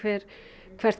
hvert